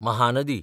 Mahanadi